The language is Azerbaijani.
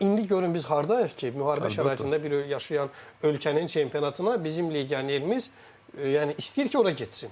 Amma indi görün biz hardayıq ki, müharibə şəraitində bir yaşayan ölkənin çempionatına bizim legionerimiz yəni istəyir ki, ora getsin.